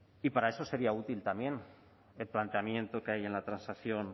y para eso sería útil también el planteamiento que hay en la transacción